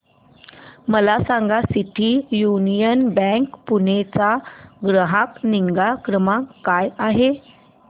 मला सांगा city union bank Pune चा ग्राहक निगा क्रमांक काय आहे